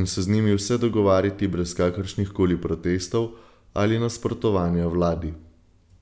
in se z njimi vse dogovarjati brez kakršnih koli protestov ali nasprotovanja vladi.